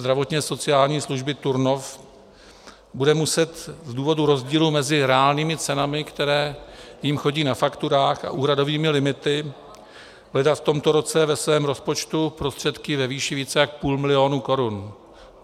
Zdravotně-sociální služby Turnov bude muset z důvodu rozdílu mezi reálnými cenami, které jim chodí na fakturách, a úhradovými limity hledat v tomto roce ve svém rozpočtu prostředky ve výši více jak půl milionu korun.